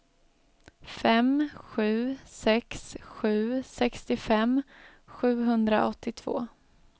fem sju sex sju sextiofem sjuhundraåttiotvå